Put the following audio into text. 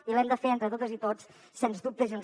i l’hem de fer entre totes i tots sens dubte junts